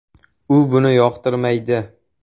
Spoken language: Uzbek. U buni yoqtirmaydi”.